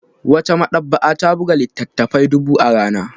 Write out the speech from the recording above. Wata maɗaba'a ta buga littattafai dubu a rana